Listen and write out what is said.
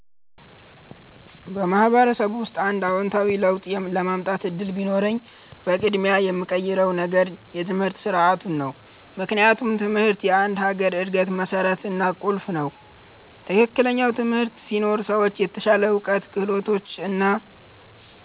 በማህበረሰብ ውስጥ አንድ አዎንታዊ ለውጥ የማምጣት እድል ቢኖረኝ፣ በቅድሚያ የምቀይረው ነገር የትምህርት ስርዓቱ ነው። ምክንያቱም ትምህርት የአንድ ሀገር እድገት መሠረት እና ቁልፍ ነው። ትክክለኛ ትምህርት ሲኖር ሰዎች የተሻለ እውቀት፣ ክህሎት እና